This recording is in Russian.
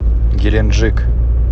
геленджик